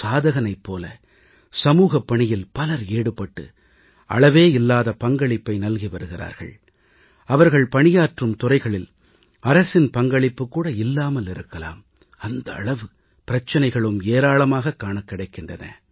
சாதகனைப் போல சமூகப் பணியில் பலர் ஈடுபட்டு அளவேயில்லாத பங்களிப்பை நல்கி வருகிறார்கள் அவர்கள் பணியாற்றும் துறைகளில் அரசின் பங்களிப்பு கூட இல்லாமல் இருக்கலாம் அந்த அளவு பிரச்சினைகளும் ஏராளமாக காணக் கிடைக்கின்றன